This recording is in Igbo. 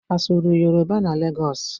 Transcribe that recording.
A sụrụ Yoroba na Legọs?